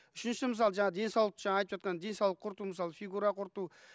үшінші мысалы жаңа денсаулық жаңа айтып жатқан денсаулық құрту мысалы фигура құрту